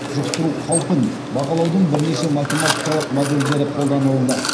жұқтыру қаупін бағалаудың бірнеше математикалық модельдері қолданылады